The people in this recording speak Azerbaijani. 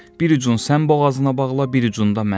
Bir ucun sən boğazına bağla, bir ucunda mən.